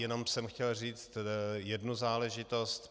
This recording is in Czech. Jen jsem chtěl říci jednu záležitost.